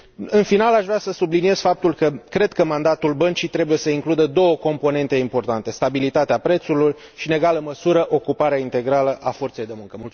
În final, aș vrea să subliniez faptul că cred că mandatul Băncii trebuie să includă două componente importante stabilitatea prețurilor și, în egală măsură, ocuparea integrală a forței de muncă.